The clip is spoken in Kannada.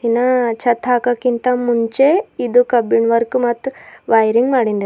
ನ ಚತ್ತ ಹಾಕಕಿಂತ ಮುಂಚೆ ಇದು ಕಬ್ಬಿಣ ವರ್ಕ್ ಮತ್ತ ವಯರಿಂಗ ಮಾಡಿಂದ--